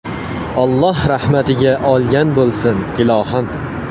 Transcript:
Alloh rahmatiga olgan bo‘lsin, ilohim.